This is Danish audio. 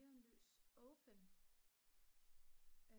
neonlys open